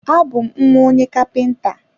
A bú m nwa onye kapinta